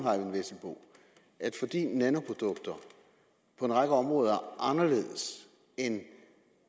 at fordi nanoprodukter på en række områder er anderledes end